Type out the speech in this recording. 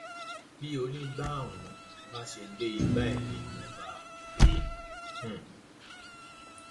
bí onígbà um bá ṣe pé ìgbà ẹ ni mò ń bá a pè é um